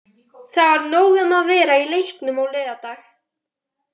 Það var nóg um að vera í leiknum á laugardag.